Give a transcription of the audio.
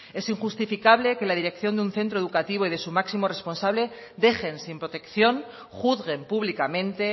es injustificable que la dirección de un centro educativo y de su máximo responsable dejen sin protección juzguen públicamente